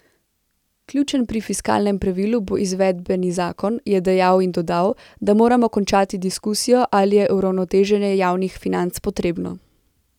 Ključen pri fiskalnemu pravilu bo izvedbeni zakon, je dejal in dodal, da moramo končati diskusijo, ali je uravnoteženje javnih financ potrebno.